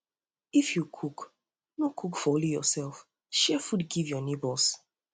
um if you if you cook no cook for only yourself um share food give your neighbours